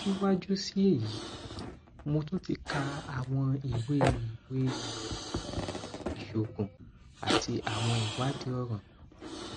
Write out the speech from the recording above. siwaju si eyi mo tun ti ka awọn iwe iwe iroyin iṣoogun ati awọn iwadii ọran